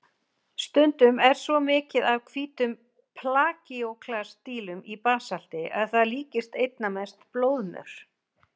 Stundum er svo mikið af hvítum plagíóklas-dílum í basalti að það líkist einna mest blóðmör.